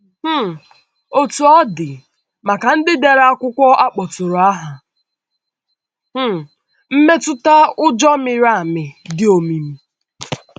um Otú ọ dị, maka ndị dere akwụkwọ a kpọtụrụ aha, um mmetụta ụjọ mịrị amị dị òmìmi.